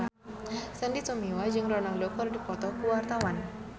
Sandy Tumiwa jeung Ronaldo keur dipoto ku wartawan